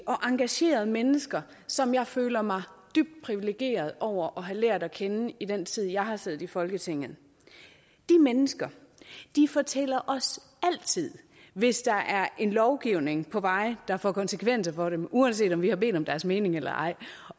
og engagerede mennesker som jeg føler mig dybt privilegeret over at have lært at kende i den tid jeg har siddet i folketinget de mennesker fortæller os altid hvis der er en lovgivning på vej der får konsekvenser for dem uanset om vi har bedt om deres mening eller ej